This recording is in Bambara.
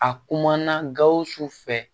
A kumana gawusu fɛ